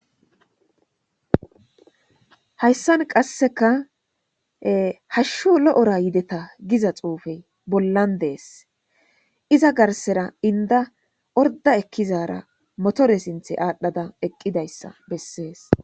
Hayisan qaseka hashu lo'ora yideta giza xupeyi bollan de'es iza garisera inida orida ekizara motore sinithi adha eqidayisa beses